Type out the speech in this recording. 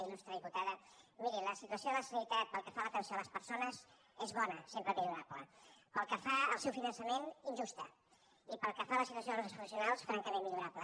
ilde la sanitat pel que fa a l’atenció a les persones és bona sempre millorable pel que fa al seu finançament injusta i pel que fa a la situació dels professionals francament millorable